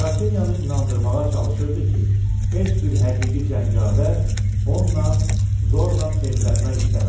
Qrafinyanı inandırmağa çalışırdı ki, heç bir həqiqi cəngavər onla zorla evlənmək istəməz.